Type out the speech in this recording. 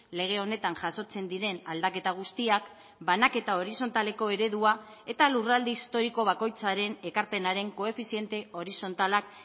lege honetan jasotzen diren aldaketa guztiak banaketa horizontaleko eredua eta lurralde historiko bakoitzaren ekarpenaren koefiziente horizontalak